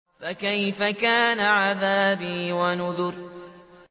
فَكَيْفَ كَانَ عَذَابِي وَنُذُرِ